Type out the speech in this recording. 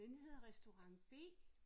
Den hedder restaurant B